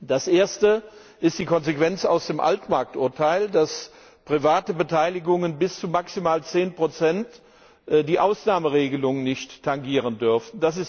Das Erste ist die Konsequenz aus dem Altmarkt Urteil, dass private Beteiligungen bis zu maximal 10 die Ausnahmeregelung nicht tangieren dürfen.